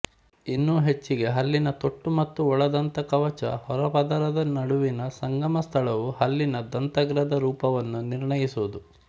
ಇನ್ನೂ ಹೆಚ್ಚಿಗೆ ಹಲ್ಲಿನ ತೊಟ್ಟು ಮತ್ತು ಒಳದಂತಕವಚ ಹೊರಪದರದ ನಡುವಿನ ಸಂಗಮ ಸ್ಥಳವು ಹಲ್ಲಿನ ದಂತಾಗ್ರದ ರೂಪವನ್ನು ನಿರ್ಣಯಿಸುವುದು